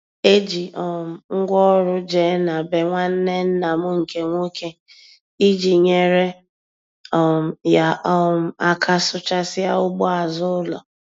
E ji um m ngwaọrụ jee na be nwanne nna m nke nwoke iji nyere um ya um aka sụchasịa ugbo azụ ụlọ.